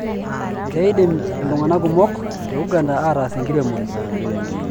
Keidim iltung'anak kumok te Uganda aataas enkiremore.